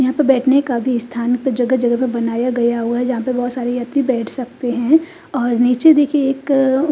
यहाँ पे बैठने का भी स्थान जगह जगह पे बनाया गया हुआ है जहाँ पे बहुत सारे यात्री बैठ सकते हैं और नीचे देखिए एक--